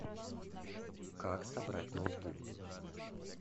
как собрать ноутбук